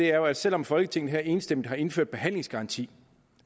er jo at selv om folketinget enstemmigt har indført behandlingsgaranti